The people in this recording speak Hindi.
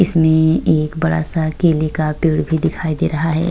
इसमें एक बड़ा सा केले का पेड़ भी दिखाई दे रहा है।